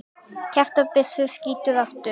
Kjaftur byssu skýtur aftur.